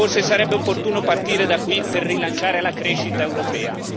Forse, sarebbe opportuno partire da qui per rilanciare la crescita europea.